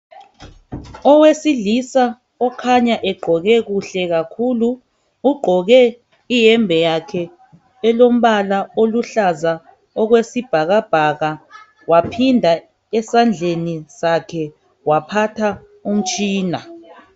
Owesilisa okhanya egqoke kuhle kakhulu, ugqoke iyembe yakhe elombala oluhlaza okwesibhakabhaka. Waphinda esandleni sakhe waphatha umtshina.